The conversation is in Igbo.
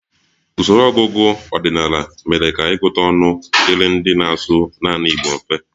Usoro ọgụgụ ọdịnala mere ka ịgụta ọnụ dịrị ndị na-asụ naanị Igbo mfe